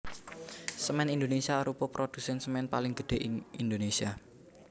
Semen Indonesia arupa produsen semen paling gedhé ing Indonesia